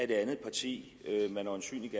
det andet parti man øjensynligt